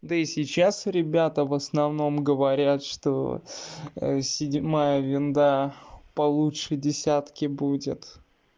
да и сейчас ребята в основном говорят что седьмая винда получше десятки будет